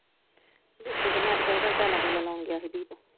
ਰਿਸ਼ਤੇ ਮੈ ਤਾ ਖਰੇ ਕਿਹਾ ਟਾਈਲਾਂ ਟੁਲਾ ਲੋਣ ਗਿਆ ਸੀ ਦੀਪ ।